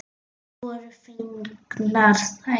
Honum voru fengnar þær.